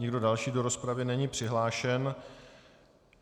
Nikdo další do rozpravy není přihlášen.